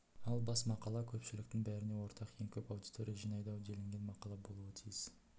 ал бас мақала көпшіліктің бәріне ортақ ең көп аудитория жинайды-ау делінген мақала болуы тиіс